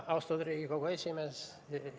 Austatud Riigikogu esimees!